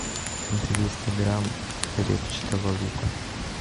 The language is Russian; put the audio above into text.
двести грамм репчатого лука